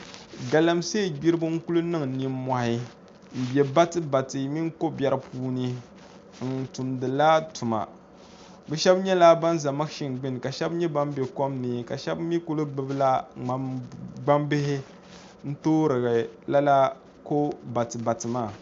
galamseegbiriba n kuli niŋ nimmɔhi m-be batibati mini ko' biɛri puuni n-tumdila tuma bɛ shaba nyɛla ban za mashini gbuni ka shaba nyɛ ban be kom ni ka shaba mi kuli gbubila gbambihi n toori lala ko' batibati maa